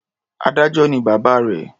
Adájọ́ ni bàbá rẹ̀.